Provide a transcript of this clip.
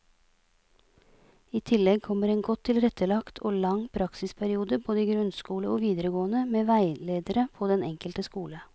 I tillegg kommer en godt tilrettelagt og lang praksisperiode både i grunnskole og videregående med veiledere på den enkelte skole.